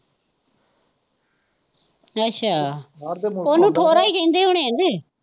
ਅੱਛਾ, ਉਹਨੂੰ ਠੋਰਾਂ ਹੀ ਕਹਿੰਦੇ ਹੋਣੇ ਜੇ